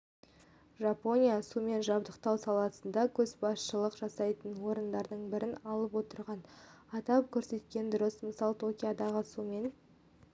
жапония сумен жабдықтау саласында көшбасшылық жасайтын орындардың бірін алып отырғанын атап көрсеткен дұрыс мысалы токиодағы сумен